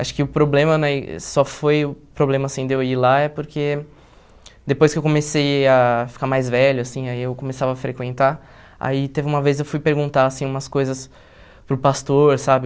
Acho que o problema, né, só foi o problema, assim, de eu ir lá é porque depois que eu comecei a ficar mais velho, assim, aí eu começava a frequentar, aí teve uma vez eu fui perguntar, assim, umas coisas para o pastor, sabe?